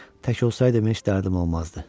Tək olsaydım heç dərdim olmazdı.